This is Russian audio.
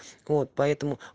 вот поэтому